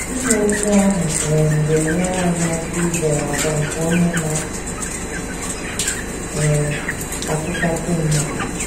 Ime otú ahụ um ga - enyere anyị aka izere àgwà nke Onye Na - um atụchasị mmadụ.